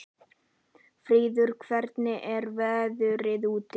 Fríður, hvernig er veðrið úti?